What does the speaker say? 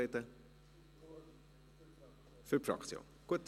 – Für die Fraktion, gut.